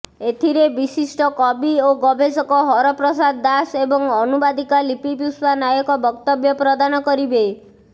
ଏଥିରେ ବିଶିଷ୍ଟ କବି ଓ ଗବେଷକ ହରପ୍ରସାଦ ଦାସ ଏବଂ ଅନୁବାଦିକା ଲିପିପୁଷ୍ପା ନାୟକ ବକ୍ତବ୍ୟ ପ୍ରଦାନ କରିବେ